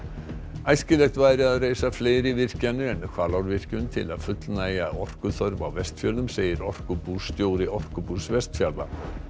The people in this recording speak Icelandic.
æskilegt væri að reisa fleiri virkjanir en Hvalárvirkjun til að fullnægja orkuþörf á Vestfjörðum segir orkubússtjóri Orkubús Vestfjarða